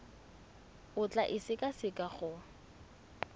o tla e sekaseka go